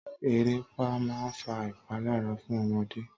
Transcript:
Eréepá máa ń fa ìpalára fún ọmọdé.